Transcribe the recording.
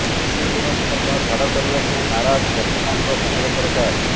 କୃଷି ଋଣକୁ ମଧ୍ୟ ଛାଡ କରିବାକୁ ନାରାଜ ବର୍ତ୍ତମାନର କେନ୍ଦ୍ର ସରକାର